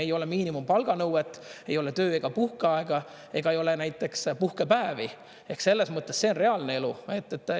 Ei ole miinimumpalga nõuet, ei ole töö- ega puhkeaega ega ei ole näiteks puhkepäevi ehk selles mõttes see on reaalne elu.